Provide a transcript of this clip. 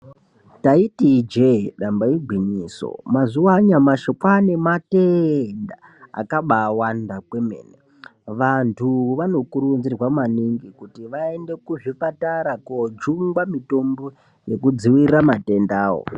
Taiti ijee damba igwinyiso mazuva anyamashi kwane matenda akabawanda kwemene vantu vano kuridzirwa maningi kuti vaende kuzvipatara kunojungwa mutombo yekudzivirira matenda wo.